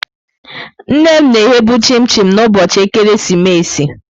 Nne m na-eghe bu chim-chim n'ụbọchị ekeresimesi.